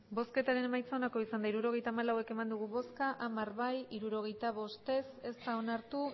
hirurogeita hamalau eman dugu bozka hamar bai hirurogeita bost ez ez da onartu